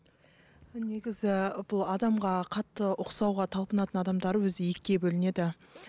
негізі бұл адамға қатты ұқсауға талпынатын адамдар өзі екіге бөлінеді